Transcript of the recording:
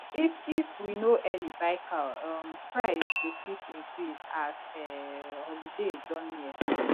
if if we no early buy cow um price go fit increase as um holiday don near